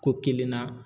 Ko kelen na